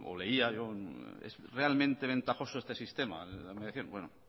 leía yo es realmente ventajoso este sistema de la mediación bueno